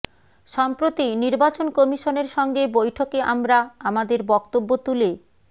সম্প্রতি নির্বাচন কমিশনের সঙ্গে বৈঠকে আমরা আমাদের বক্তব্য তুলে